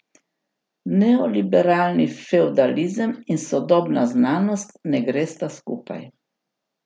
Neoliberalni fevdalizem in sodobna znanost ne gresta skupaj.